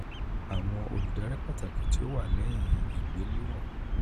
awọn oludari pataki ti o wa lẹhin igbelewọn igbelewọn ni: